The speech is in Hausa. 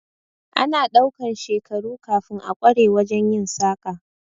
Ana ɗaukan shekaru kafin a kware wajen yin saƙa